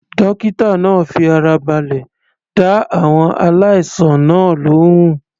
Dókítà náà fi ara balẹ̀ dá àwọn aláìsàn náà lóhùn.